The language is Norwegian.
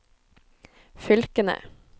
fylkene